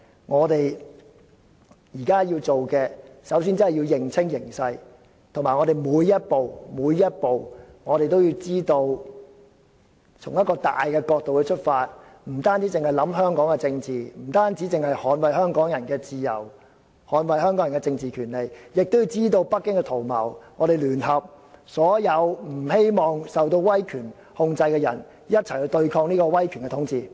我們現在首先要做的是認清形勢，每一步都要從一個大的角度出發，不單考慮香港的政治、不單捍衞香港人的自由、政治權利，亦要知道北京的圖謀，我們要聯合所有不希望受到威權控制的人一起對抗威權統治。